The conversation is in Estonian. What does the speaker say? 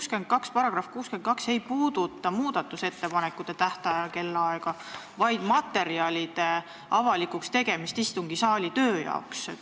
See § 62 ei puuduta muudatusettepanekute esitamise kellaaega, vaid seda, millal tuleb materjalid teha avalikuks töö jaoks istungisaalis.